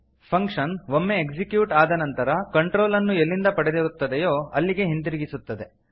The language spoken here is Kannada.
ಫಂಕ್ಷನ್ ಒಮ್ಮೆ ಎಕ್ಸಿಕ್ಯೂಟ್ ಆದ ನಂತರ ಕಂಟ್ರೋಲ್ ಅನ್ನು ಎಲ್ಲಿಂದ ಪಡೆದಿರುತ್ತದೆಯೋ ಅಲ್ಲಿಗೆ ಹಿಂತಿರುಗಿಸುತ್ತದೆ